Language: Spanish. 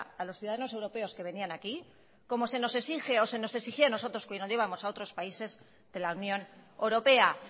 a los ciudadanos europeos que venían aquí como se nos exige o se nos exigía a nosotros cuando íbamos a otros países de la unión europea